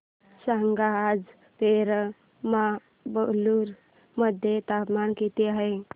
सांगा आज पेराम्बलुर मध्ये तापमान किती आहे